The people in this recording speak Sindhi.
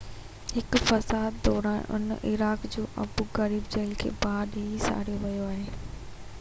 هڪ فساد دوران عراق جي ابو غريب جيل کي باهه ڏئي ساڙيو ويو آهي